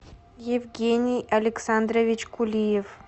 евгений александрович кулиев